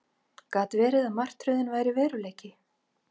Gat verið að martröðin væri veruleiki?